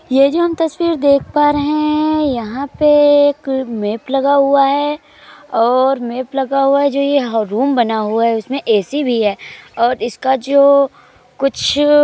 ये जो हम तस्वीर देख पा रहे है यहाँ पे एक मैंप लगा हुआ है और मैंप लगा हुआ है। जो ये रूम बना हुआ है। उसमे ए_सी भी है और इसका जो कुछ --